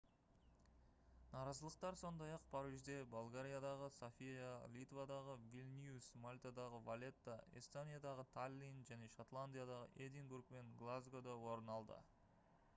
наразылықтар сондай-ақ парижде болгариядағы софия литвадағы вильнюс мальтадағы валетта эстониядағы таллин және шотландиядағы эдинбург пен глазгода орын алды